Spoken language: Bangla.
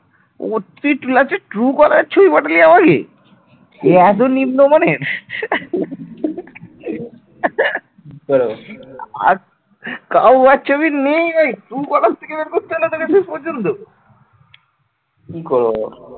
কি করবো বল